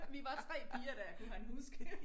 Vi var 3 piger dér kunne han huske